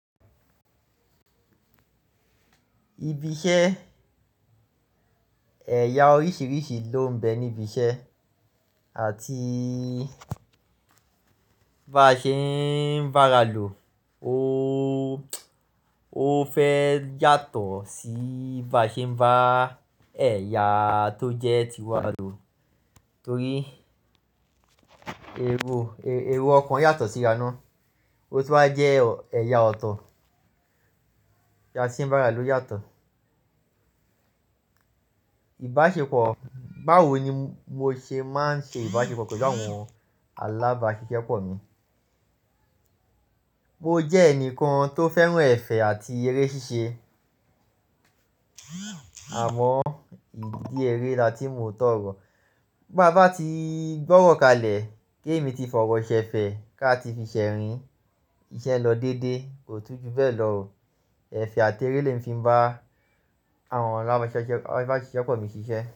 Ibi-iṣẹ́, ẹ̀ya oríṣiríṣi ló ń bẹ níbi iṣẹ́ àti bá ṣe ń bá ra lò ó, ó fẹ́ yàtọ̀ sí bá ṣe ń bá ẹ̀ya tó jẹ́ ti wa lò torí èrò èrò ọ̀kan yàtọ̀ sí ira ná ó tí wá jẹ́ ẹ̀yà ọ̀tọ̀. Bí a ṣe ń bá ara lò yàtọ̀. Ìbáṣepọ̀, báwo ni mo ṣe máa ń ṣe ìbáṣepọ̀ pẹ̀lú àwọn alábáṣiṣẹ́pọ̀ mi? Mo jẹ́ ẹnìkan tó fẹ́ràn ẹ̀fẹ̀ àti eré ṣíṣe àmọ́ ìdí eré la tí mo òótọ́ ọ̀rọ̀. Bá bá ti gbọ́wọ̀ kalẹ̀ kí èmi ti fọ̀wọ̀ ṣẹ fẹ̀ ká ti fi ṣẹ rìn, iṣẹ́ lọ dédé, kò tún ju bẹ́ẹ̀ lọ o. Ẹ̀fẹ̀ àti eré lè mi fi bá àwọn alábáṣiṣẹ́pọ̀ mi ṣiṣẹ́